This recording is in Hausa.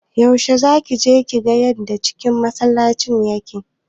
Yaushe zaki je kiga yanda cikin masallacin yake?